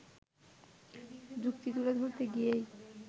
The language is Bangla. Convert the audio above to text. যুক্তি তুলে ধরতে গিয়েই